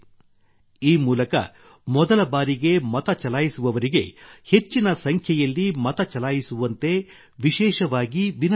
ಈ ಮೂಲಕ ಮೊದಲ ಬಾರಿಗೆ ಮತ ಚಲಾಯಿಸುವವರಿಗೆ ಹೆಚ್ಚಿನ ಸಂಖ್ಯೆಯಲ್ಲಿ ಮತ ಚಲಾಯಿಸುವಂತೆ ವಿಶೇಷವಾಗಿ ವಿನಂತಿಸಲಾಗಿದೆ